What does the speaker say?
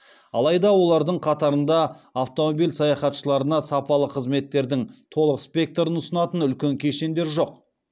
алайда олардың қатарында автомобиль саяхатшыларына сапалы қызметтердің толық спектрін ұсынатын үлкен кешендер жоқ